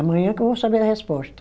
Amanhã que eu vou saber a resposta.